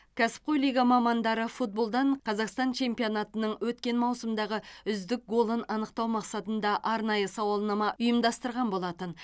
кәсіпқой лига мамандары футболдан қазақстан чемпионатының өткен маусымдағы үздік голын анықтау мақсатында арнайы сауалнама ұйымдастырған болатын